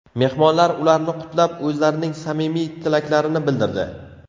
Mehmonlar ularni qutlab, o‘zlarining samimiy tilaklarini bildirdi.